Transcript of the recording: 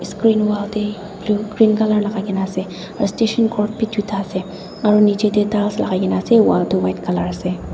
asrin wall teh blu green colour lagai kena ase aru extension code tuta ase aru niche teh bhi ekta lagai kena ase wall tu white colour ase.